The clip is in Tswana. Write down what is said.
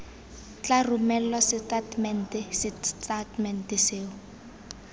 tla romelwa setatamente setatamente seo